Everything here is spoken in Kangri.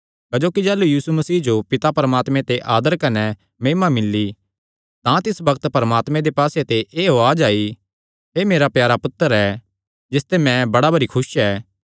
क्जोकि जाह़लू यीशु मसीह जो पिता परमात्मे ते आदर कने महिमा मिल्ली तां तिस बग्त परमात्मे दे पास्से ते एह़ उआज़ आई एह़ मेरा प्यारा पुत्तर ऐ जिसते मैं बड़ा भरी खुस ऐ